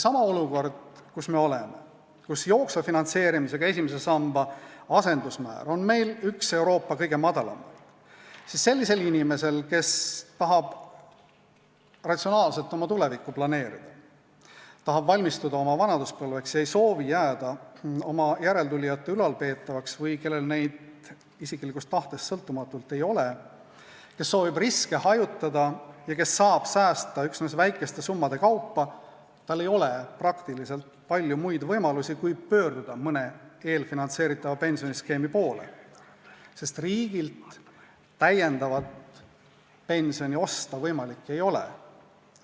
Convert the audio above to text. Olukorras, kus me oleme ja kus meie jooksval finantseerimisel põhineva esimese samba asendusmäär on üks Euroopa kõige madalamaid, ei ole sellisel inimesel, kes tahab ratsionaalselt oma tulevikku planeerida, kes tahab valmistuda vanaduspõlveks, kes ei soovi jääda oma järeltulijate ülalpeetavaks või kellel neid isiklikust tahtest sõltumatult ei ole, kes soovib riske hajutada ja kes saab säästa üksnes väikeste summade kaupa, kuigi palju muid võimalusi kui pöörduda mõne eelfinantseeritava pensioniskeemi poole, sest riigilt täiendavat pensioni osta võimalik ei ole.